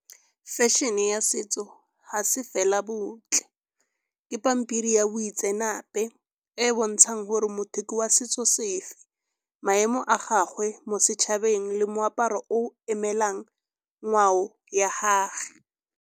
Fashion-e ya setso ga se fela botle, ke pampiri ya boitseanape e e bontshang gore motho ke wa setso sefe, maemo a gagwe mo setšhabeng le moaparo o emelang ngwao ya gage.